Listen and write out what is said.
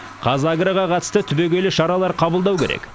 қазагроға қатысты түбегейлі шаралар қабылдау керек